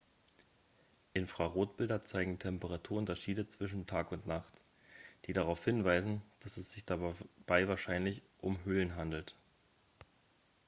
infrarotbilder zeigen temperaturunterschiede zwischen nacht und tag die darauf hinweisen dass es sich dabei wahrscheinlich um höhlen handelt